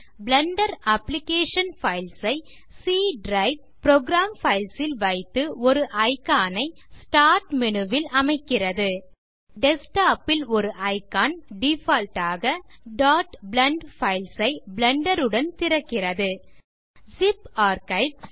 Blender application files ஐ C drive program files ல் வைத்து ஒரு இக்கான் ஐ ஸ்டார்ட் மேனு ல் அமைக்கிறது டெஸ்க்டாப் ல் ஒரு இக்கான் டிஃபால்ட் ஆக blend பைல்ஸ் ஐ பிளெண்டர் உடன் திறக்கிறது ஸிப் ஆர்க்கைவ்